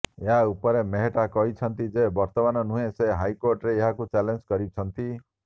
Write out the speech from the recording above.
ଏହା ଉପରେ ମେହେଟ୍ଟା କହିଛନ୍ତି ଯେ ବର୍ତ୍ତମାନ ନୁହେଁ ସେ ହାଇକୋର୍ଟରେ ଏହାକୁ ଚ୍ୟାଲେଞ୍ଜ କରିଛନ୍ତି